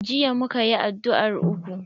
Jiya muka yi addu'ar uku.